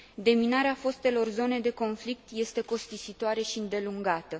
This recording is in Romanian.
Deminarea fostelor zone de conflict este costisitoare și îndelungată.